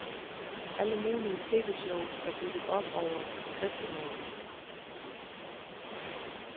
Alle mulige tvshows er bygget op over skriftemål.